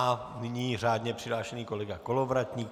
A nyní řádně přihlášený kolega Kolovratník.